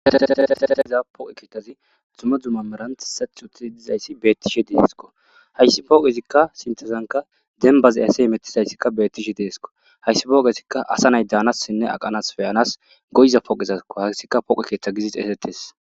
Tetteza poqe keeththazi dzume dzumamerant seth uththizi dizayssi beettishe deesko hayssi pooqezikka sintazanka denbaz ese mettizayssikka beettishe deesko hayssi pooqezikka asa nay daanassinne aqanas peyanas goyza poqezakko hayssika poqe keeththa gizis eesettes.